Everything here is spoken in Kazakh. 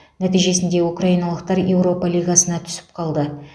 нәтижесінде украиналықтар еуропа лигасына түсіп қалды